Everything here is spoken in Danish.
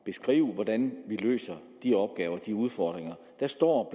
beskrive hvordan vi løser de opgaver og de udfordringer der står